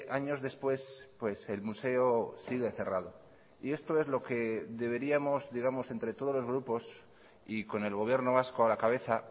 años después el museo sigue cerrado y esto es lo que deberíamos digamos entre todos los grupos y con el gobierno vasco a la cabeza